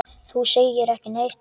Þú segir ekki neitt.